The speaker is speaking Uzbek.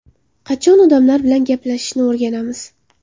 Qachon odamlar bilan gaplashishni o‘rganamiz.